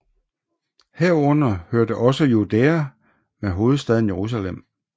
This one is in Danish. Herunder hørte også Judæa med hovedstaden Jerusalem